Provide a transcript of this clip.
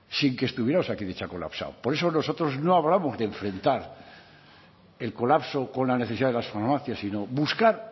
sin que estuviera osakidetza colapsado por eso nosotros no hablamos de enfrentar el colapso con la necesidad de las farmacias sino buscar